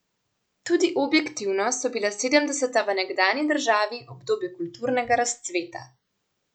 Tudi objektivno so bila sedemdeseta v nekdanji državi obdobje kulturnega razcveta.